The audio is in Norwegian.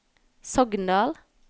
Sogndal